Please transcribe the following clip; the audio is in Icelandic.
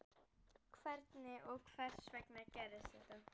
Hvernig og hvers vegna gerðist þetta?